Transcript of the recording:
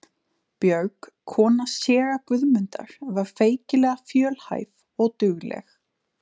Björg, kona séra Guðmundar, var feikilega fjölhæf og dugleg.